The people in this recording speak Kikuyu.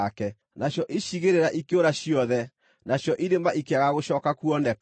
Nacio icigĩrĩra ikĩũra ciothe, nacio irĩma ikĩaga gũcooka kuoneka.